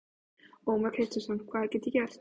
Ómar Kristjánsson: Hvað get ég gert?